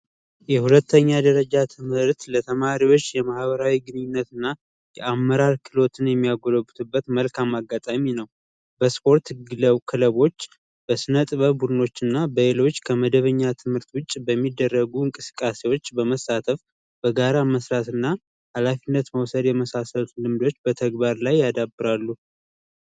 የሁለተኛ ደረጃ ትምህርት ለተማሪዎች የማህበራዊ ግንኙነት እና የአመራር ክህሎትን የሚያጎለብቱበት መልካም አጋጣሚ ነው። በስፖርት ክለቦች ፣በስነጥበብ ቡድኖች እና በሌሎች ከመደበኛ ትምህርት ውጪ በሚደረጉ እንቅስቃሴዎች በመሳተፍ በጋራ መስራት እና ሀላፊነት መውሰድ የመሳሰሉ ሙያ ያዳብራሉ።